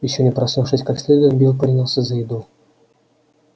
ещё не проснувшись как следует билл принялся за еду